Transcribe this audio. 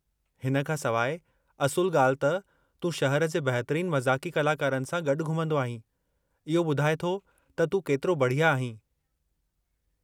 हिन खां सवाइ, असुलु ॻाल्हि त तूं शहर जे बहितरीन मज़ाक़ी कलाकारनि सां गॾु घूमंदो आहीं, इहो ॿुधाए थो त तूं केतिरो बढ़िया आहीं।